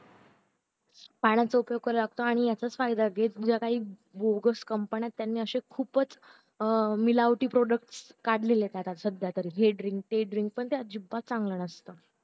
पाण्याचा उपयोग करावा लागतो आणि याचाच फायदा घेत जगात काही बोगस company त्यांनी अशे खूपच अं मिळवटी product काढले सध्या तर हे drink ते drink पण ते अजिबात चांगलं नसत